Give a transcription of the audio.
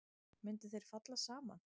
Myndu þeir falla saman?